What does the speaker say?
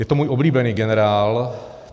Je to můj oblíbený generál.